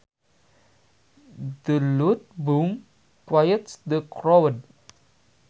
The loud boom quiets the crowd